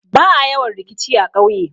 Ba'a yawan rikici a ƙauye.